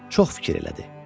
Çox fikir elədi.